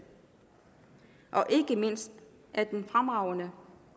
og ikke mindst af den fremragende